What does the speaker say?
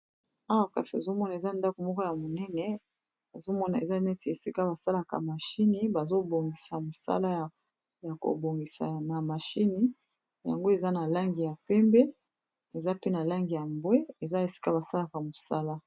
Awa kasi ozomona eza ndako moko ya monene ozomona eza neti esika basalaka mashini bazobongisa mosala ya kobongisa na mashini yango eza na langi ya pembe eza pe na langi ya mbwe eza esika basalaka mosala.